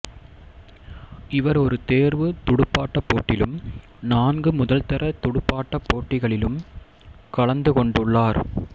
இவர் ஒரு தேர்வுத் துடுப்பாட்டப் போட்டிலும் நான்கு முதல்தர துடுப்பாட்டப் போட்டிகளிலும் கலந்து கொண்டுள்ளார்